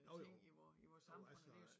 Jo jo jo altså